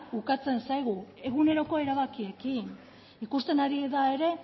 ukatzen zaigu eguneroko erabakiekin ikusten ari da ere